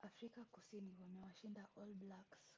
afrika kusini wamewashinda all blacks